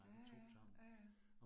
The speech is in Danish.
Ja ja, ja ja